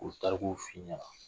U bɛ tarikuw fɔ i ɲɛna